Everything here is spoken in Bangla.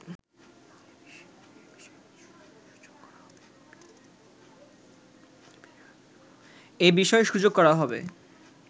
এ বিষয়ে সুযোগ করা হবে